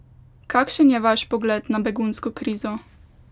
Kakšen je vaš pogled na begunsko krizo?